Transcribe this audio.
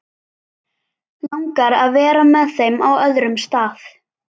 Langar að vera með þeim á öðrum stað.